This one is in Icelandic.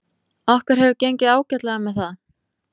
Okkur hefur gengið ágætlega með það.